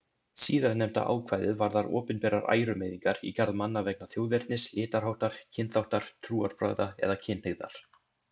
Síðarnefnda ákvæðið varðar opinberar ærumeiðingar í garð manna vegna þjóðernis, litarháttar, kynþáttar, trúarbragða eða kynhneigðar.